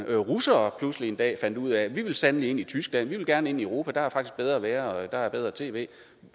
russere pludselig en dag fandt ud af at de sandelig vil ind i tyskland de vil gerne ind i europa der er faktisk bedre at være der er bedre tv